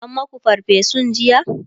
an maku farfesun jiya?